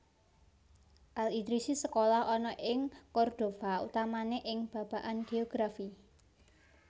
Al Idrisi sekolah ana ing Cordova utamané ing babagan géografi